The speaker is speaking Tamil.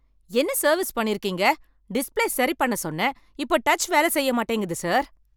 என்ன சர்வீஸ் பண்ணியிருக்கீங்க, டிஸ்பிளே சரி பண்ண சொன்னேன், இப்ப டச் வேலை செய்ய மாட்டேங்கிது சார்.